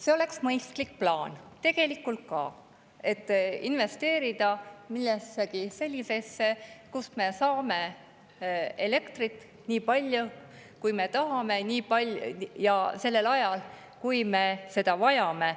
See oleks mõistlik plaan, tegelikult ka, investeerida millessegi sellisesse, kust me saame elektrit nii palju, kui me tahame, ja sellel ajal, kui me seda vajame.